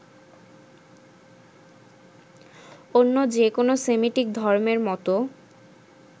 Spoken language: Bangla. অন্য যে-কোনো সেমিটিক ধর্মের মতো